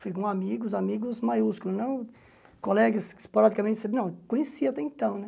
Fui com amigos, amigos maiúsculo, não colegas que esporadicamente... Não, conhecia até então, né?